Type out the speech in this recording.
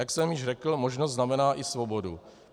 Jak jsem již řekl, možnost znamená i svobodu.